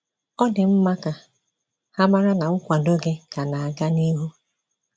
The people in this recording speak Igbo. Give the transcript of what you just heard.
Ọ̀ dị mma ka ha mara na nkwàdò gị ka na - aga n’ihu.